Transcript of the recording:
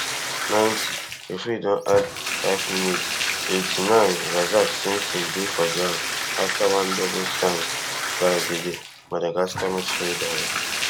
ninetyreferee don addfive minutes eighty-ninerazak simpson dey for ground afta one double stamp by di di madagascar midfielder um